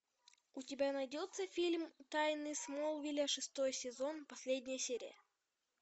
у тебя найдется фильм тайны смолвиля шестой сезон последняя серия